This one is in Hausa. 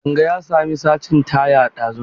Kadanga ya sami sacin taya ɗazun.